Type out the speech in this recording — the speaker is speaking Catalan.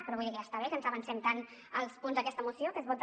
però vull dir que ja està bé que ens avancem tant als punts d’aquesta moció que es vota